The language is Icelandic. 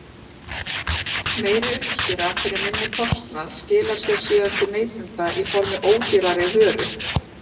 Meiri uppskera fyrir minni kostnað skilar sér síðan til neytenda í formi ódýrari vöru.